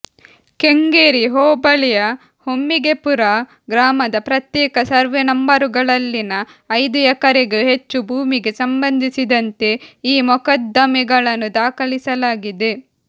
ಕೆಂಗೇರಿ ಹೋಬಳಿಂುು ಹೆಮ್ಮಿಗೆಪುರ ಗ್ರಾಮದ ಪ್ರತ್ಯೇಕ ಸರ್ವೆ ನಂಬರುಗಳಲ್ಲಿನ ಐದು ಎಕರೆಗೂ ಹೆಚ್ಚು ಭೂಮಿಗೆ ಸಂಬಂಧಿಸಿದಂತೆ ಈ ಮೊಕದ್ದಮೆಗಳನ್ನು ದಾಖಲಿಸಲಾಗಿದೆ